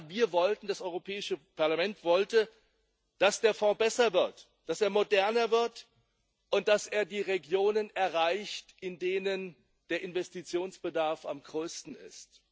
Aber das Europäische Parlament wollte, dass der Fonds besser wird, dass er moderner wird und dass er die Regionen erreicht, in denen der Investitionsbedarf am größten ist.